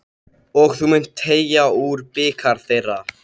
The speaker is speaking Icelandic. Og þú munt teyga úr bikar þeirra.